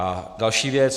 A další věc.